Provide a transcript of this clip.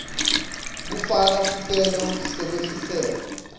kufaka sicelo sekwehliselwa